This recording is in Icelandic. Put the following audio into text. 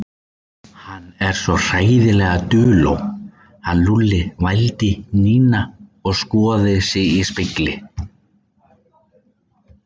Hann er svo hræðilega duló, hann Lúlli vældi Nína og skoðaði sig í spegli.